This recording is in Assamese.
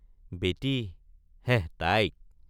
বেটি হেঃ তাইক।